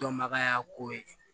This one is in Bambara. Dɔnbagaya ko ye